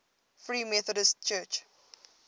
free methodist church